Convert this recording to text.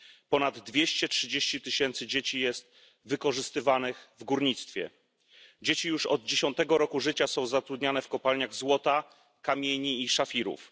Ponad 230 tysięcy dzieci jest wykorzystywanych w górnictwie. Dzieci już od 10 roku życia są zatrudniane w kopalniach złota, kamieni i szafirów.